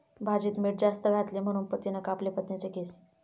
भाजीत मीठ जास्त घातले म्हणून पतीनं कापले पत्नीचे केस!